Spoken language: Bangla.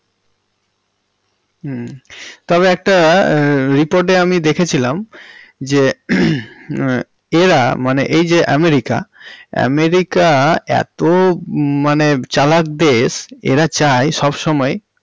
হমম তবে একটা রিপোর্টে আমি দেখেছিলাম যে হমম এরা মানে এই যে আমেরিকা~ আমেরিকা এতো মানে চালাক দেশ এরা চায় সবসময়ই।